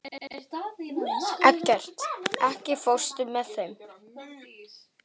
Eggert, ekki fórstu með þeim?